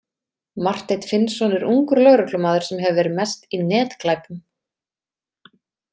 Marteinn Finnsson er ungur lögreglumaður sem hefur verið mest í netglæpum.